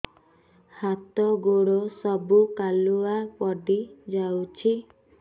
ହାତ ଗୋଡ ସବୁ କାଲୁଆ ପଡି ଯାଉଛି